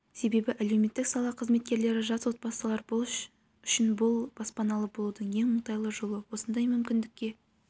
себебі әлеуметтік сала қызметкерлері жас отбасылар үшін бұл баспаналы болудың ең оңтайлы жолы осындай мүмкіндікке